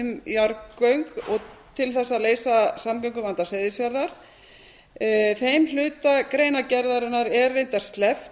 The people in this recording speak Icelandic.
þróun umræðu um jarðgöng til að leysa samgönguvanda seyðisfjarðar þeim hluta greinargerðarinnar er reyndar sleppt